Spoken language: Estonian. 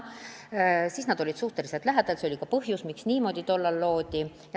Siis need palgad olid suhteliselt lähedased ja see oli ka põhjus, miks niimoodi tollal otsustati.